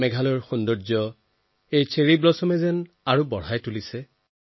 মেঘালয়ৰ অপৰূপ সৌন্দৰ্যত এই চেৰী ফুলে আৰু অধিক জেউতি চৰাইছে